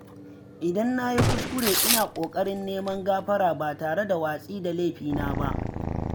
Idan na yi kuskure, ina ƙoƙarin neman gafara ba tare da watsi da laifina ba.